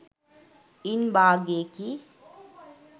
ඉන් භාගයකි.